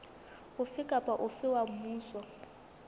ofe kapa ofe wa mmuso